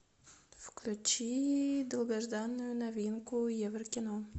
включи долгожданную новинку еврокино